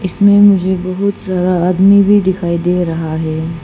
इसमें मुझे बहुत सारा आदमी भी दिखाई दे रहा है।